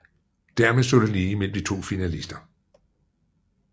Dermed stod det lige mellem de to finalister